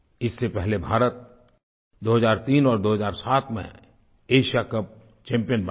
इससे पहले भारत 2003 और 2007 में एशिया कप चैम्पियन बना था